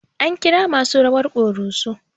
An kira masu rawar ƙoroso